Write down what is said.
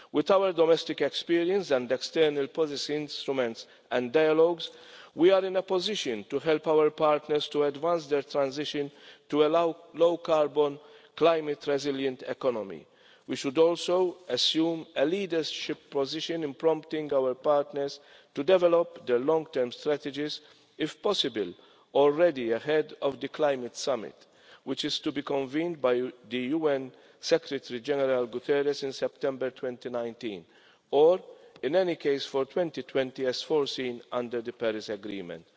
With our domestic experience and external policy instruments and dialogues, we are in a position to help our partners to advance their transition to a low carbon, climate resilient economy. We should also assume a leadership position in prompting our partners to develop their long term strategies if possible already ahead of the climate summit, which is to be convened by UN Secretary General Guterres in September 2019, or in any case for 2020 as foreseen under the Paris agreement.